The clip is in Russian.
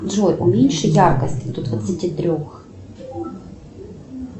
джой уменьши яркость до двадцати трех